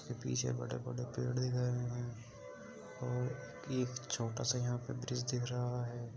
उसके पीछे बड़े-बड़े पेड़ दिखयी दे रहे और एक छोटा-सा यहाँ पर ब्रिज दिख रहा है।